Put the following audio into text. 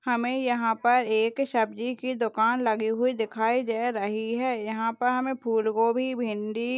हमें यहाँ पर एक सब्जी की दुकान लगी हुई दिखाई दे रही है यहाँ पर हमें फूलगोभी भिंडी --